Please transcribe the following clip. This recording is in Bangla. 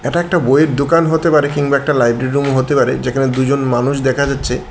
এটা একটা বইয়ের দোকান হতে পারে কিংবা একটা লাইব্রেরির রুম হতে পারে যেখানে দুজন মানুষ দেখা যাচ্ছে।